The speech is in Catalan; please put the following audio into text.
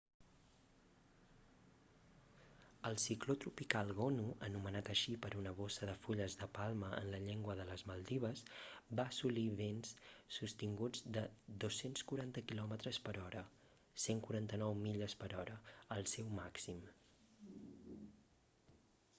el cicló tropical gonu anomenat així per una bossa de fulles de palma en la llengua de les maldives va assolir vents sostinguts de 240 quilòmetres per hora 149 milles per hora al seu màxim